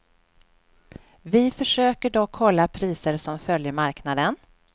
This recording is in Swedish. Vi försöker dock hålla priser som följer marknaden.